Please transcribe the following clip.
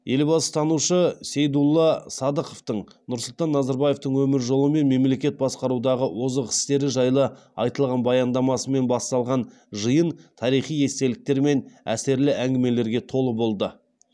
елбасытанушы сейдулла садықовтың нұрсұлтан назарбаевтың өмір жолы мен мемлекет басқарудағы озық істері жайлы айтылған баяндамасымен басталған жиын тарихи естеліктер мен әсерлі әңгімелерге толы болды